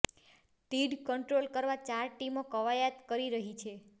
તીડ કંટ્રોલ કરવા ચાર ટીમો કવાયત કરી રહી છે